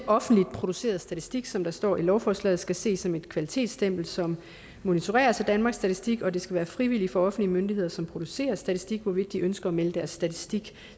offentligt produceret statistik som der står i lovforslaget skal ses som et kvalitetsstempel som monitoreres af danmarks statistik og det skal være frivilligt for offentlige myndigheder som producerer statistik hvorvidt de ønsker at melde deres statistik